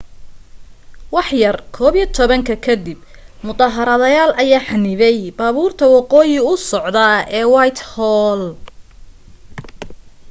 waxyar 11:00 ka dib mudaharaadayaal ayaa xanibay baabuurta waqooyi u socda ee whitehall